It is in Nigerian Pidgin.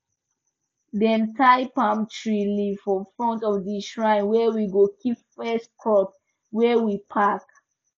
dem tie palm tree leaf for front of the shrine where we go keep first crop wey we pack